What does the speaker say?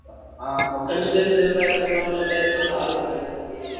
En stundum ræðum við málin meira svona almennt.